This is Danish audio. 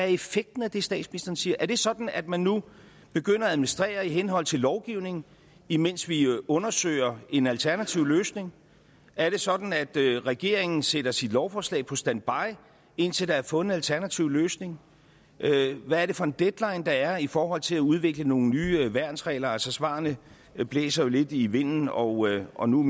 effekten af det statsministeren siger er er det sådan at man nu begynder at administrere i henhold til lovgivningen imens vi undersøger en alternativ løsning er det sådan at regeringen sætter sit lovforslag på standby indtil der er fundet en alternativ løsning hvad er det for en deadline der er i forhold til at udvikle nogle nye værnsregler altså svarene blæser jo lidt i vinden og og nu